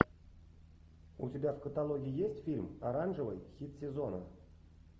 у тебя в каталоге есть фильм оранжевый хит сезона